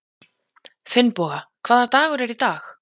Finnboga, hvaða dagur er í dag?